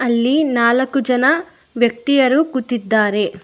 ಇಲ್ಲಿ ನಾಲ್ಕು ಜನ ವ್ಯಕ್ತಿಯರು ಕೂತಿದ್ದಾರೆ.